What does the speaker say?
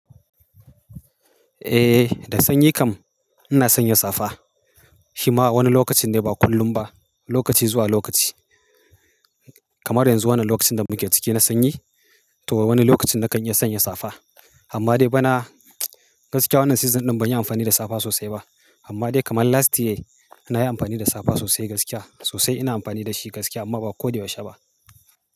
Eh, da sanyi kam ina sanya safa. Shima a wani lokacin ne ba kullum ba. Lokaci zuwa lokaci. Kamar yanzu wannan lokacin da muke cike na sanyi to wani lokacin na kan iya sanya safa. Amma dai bana gaskiya wannan season ɗin ban yi amfani da safa sosai ba. Amma dai kamar last year na yi amfani da safa sosai gaskiya. Sosai ina amfani da shi gaskiya amma ba ko da yaushe ba.